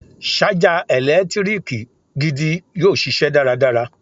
Ṣájà ẹ̀lẹ́tíríkì gidi yóò ṣiṣẹ́ dáradára.